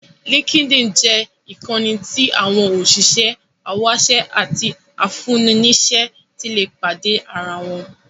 Linkedin jẹ́ ìkànnì tí àwọn òṣìṣẹ́, awáṣẹ́ àti afúnni-níṣẹ́ ti lè pàdé ara wọn.